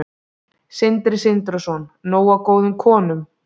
Sindri Sindrason: Nóg af góðum konum?